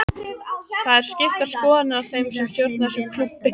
Það eru skiptar skoðanir á þeim sem stjórna þessum klúbbi.